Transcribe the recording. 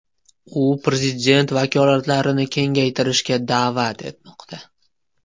U prezident vakolatlarini kengaytirishga da’vat etmoqda.